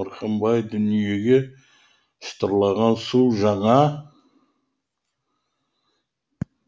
мырқым бай дүниеге шытырлаған су жаңа доллардың көзімен қарайды